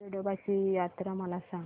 येडोबाची यात्रा मला सांग